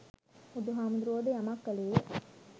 බුදුහාමුදුරුවෝ ද යමක් කළේ